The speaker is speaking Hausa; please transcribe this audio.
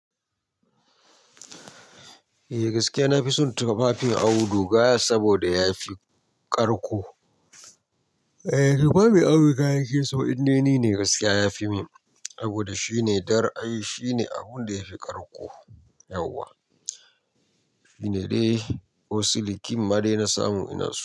Eh gaske na fi son tufafin auduga saboda ya fi ƙarƙo. Eeh tufafin Auduga nake so inde ni ne gaskiya yafi min saboda shine dar ai shine abun da yafi ƙarƙo yauwa. Shine dai ko silikin ma dai na samu ina so.